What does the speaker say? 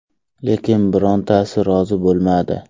Lekin birontasi rozi bo‘lmadi.